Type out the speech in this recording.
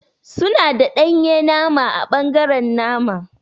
Suna da danye nama ã bangaren nama.